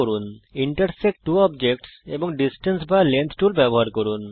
intersect ত্ব objects এবং distance অথবা লেংথ টুল ব্যবহার করুন